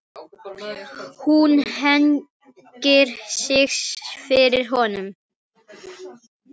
Hún hneigir sig fyrir honum.